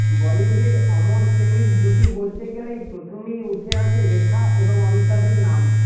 বলিউডের অমর প্রেমের জুটি বলতে গেলেই প্রথমেই উঠে আসে রেখা এবংঅমিতাভের নাম